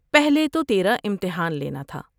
پہلے تو تیرا امتحان لینا